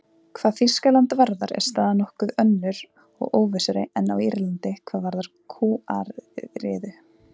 Hvað Þýskaland varðar er staðan nokkuð önnur og óvissari en á Írlandi hvað varðar kúariðu.